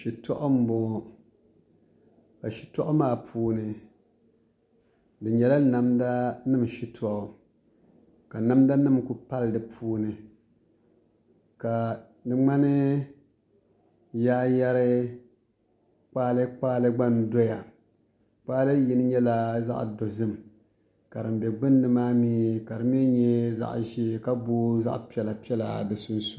Shitɔɣu n bɔŋɔ ka shitɔɣu maa puuni di nyɛla namda nim shitɔɣu ka namda nim ku pali di puuni ka di ŋmani yaayɛri kpaalɛ kpaalɛ gba n doya kpaalɛ yini nyɛla zaɣ dozim ka din bɛ gbunni maa mii ka di mii nyɛ zaɣ ʒiɛ ka booi zaɣ piɛla piɛla di sunsuuni